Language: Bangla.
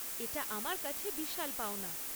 এটা আমার কাছে বিশাল পাওনা।